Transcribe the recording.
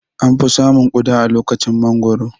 An fi samun Ƙuda a lokacin mangoro